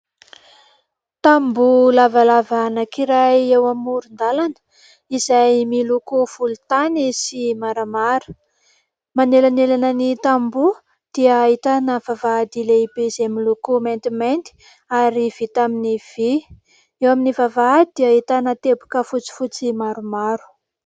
Tamboho lavalava anankiray eo amoron-dalana izay miloko volontany sy maramara ; manelanelan' ny tamboho dia ahitana vavahady lehibe izay miloko maintimainty ary vita amin' ny vy ; eo amin' ny vavahady dia ahitana teboka fotsifotsy maromaro.